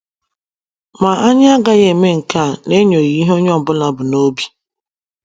Maa, anyi aga eme nke a na enyoghi ihe onye ọbula bụ na obi